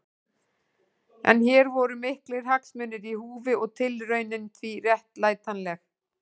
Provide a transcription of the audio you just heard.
En hér voru miklir hagsmunir í húfi og tilraunin því réttlætanleg.